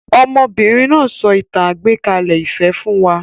Ọmọbìnrin náà so ìtàn àgbékalẹ̀-ìfẹ́ fún wa